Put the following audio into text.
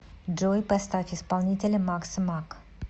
джой поставь исполнителя макса мак